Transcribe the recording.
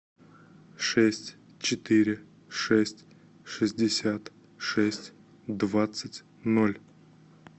шесть четыре шесть шестьдесят шесть двадцать ноль